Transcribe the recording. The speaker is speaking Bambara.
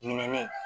Ɲinɛnin